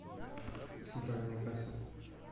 центральная касса